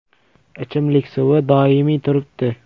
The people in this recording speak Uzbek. Ichimlik suvi doimiy turibdi.